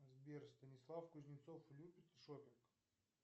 сбер станислав кузнецов любит шопинг